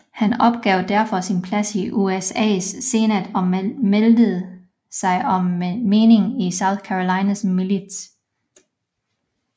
Han opgav derfor sin plads i USAs senat og meldte sig som menig i South Carolinas milits